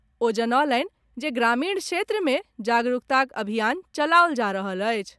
ओ जनौलनि जे ग्रामीण क्षेत्र मे जागरूकताक अभियान चलाओल जा रहल अछि।